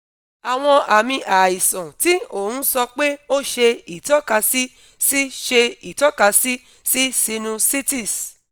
awọn aami aisan ti o n sọ pe o ṣe itọkasi si ṣe itọkasi si sinusitis